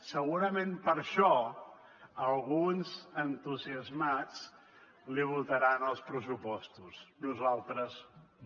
segurament per això alguns entusiasmats li votaran els pressupostos nosaltres no